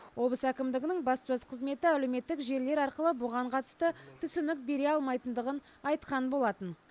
облыс әкімдігінің баспасөз қызметі әлеуметтік желілер арқылы бұған қатысты түсінік бере алмайтындығын айтқан болатын